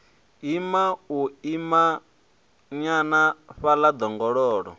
ima u imanyana fhaḽa ḓongololo